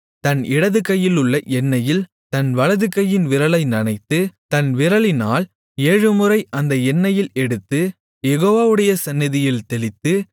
தன் இடதுகையிலுள்ள எண்ணெயில் தன் வலதுகையின் விரலை நனைத்து தன் விரலினால் ஏழுமுறை அந்த எண்ணெயில் எடுத்து யெகோவாவுடைய சந்நிதியில் தெளித்து